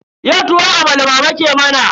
Yau tuwon amala mama ke mana.